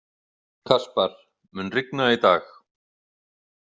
Kaspar, mun rigna í dag?